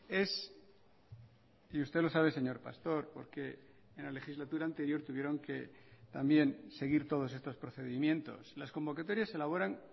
es y usted lo sabe señor pastor porque en la legislatura anterior tuvieron que también seguir todos estos procedimientos las convocatorias se elaboran